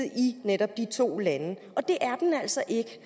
i netop de to lande og det er den altså ikke